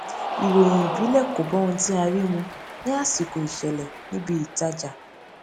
ìròyìn ìbílẹ kò bá ohun tí a rí mu ní àsìkò ìṣẹlẹ ní ibi ìtajà